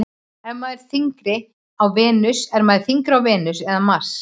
Er maður þyngri á Venus eða Mars?